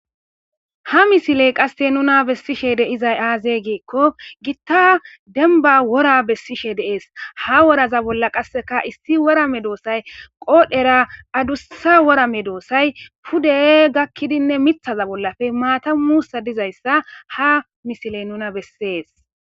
Ha misiley qasse nuna bessishe deizay aazey giikko gitta denba wora bessishe deees ha woraza bolla qasseka issi worame doossay qoodhera adussa worame doossay pude gakkidinne mithaza bollafe maatamusa dizayssa ha misiley nuna bessees.